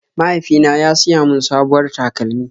Mahaifina ya siya mun sabuwar takalmi.